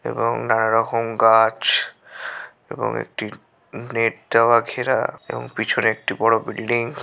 এবং নানারকম গাছ এবং একটি নেট দেওয়া ঘেরা এবং পিছনে একটি বড়ো বিল্ডিং ।